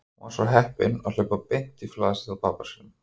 Hún var svo heppin að hlaupa beint í flasið á pabba sínum.